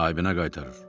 Sahibinə qaytarır.